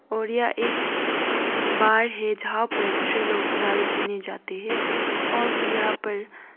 और यह एक बार है जहाँ पर दूसरे लोग दारु पीने जाते हैं और फिर यहां पर--